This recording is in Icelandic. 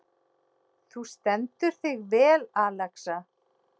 Þú stendur þig vel, Alexa!